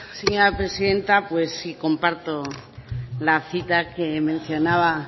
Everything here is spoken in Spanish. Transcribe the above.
señora presidenta pues sí comparto la cita que mencionaba